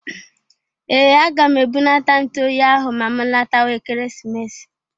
Ee! Aga m ebunata ntụ oyi ahụ ma m latawa Ekeresimesi.